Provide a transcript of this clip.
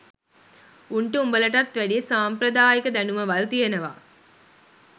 උන්ට උඹලටත් වැඩිය සම්ප්‍රදායික දැනුමවල් තියෙනවා